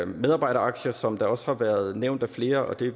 medarbejderaktier som også har været nævnt af flere og det er